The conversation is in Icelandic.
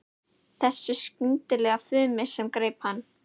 Þessu skyndilega fumi sem greip hann.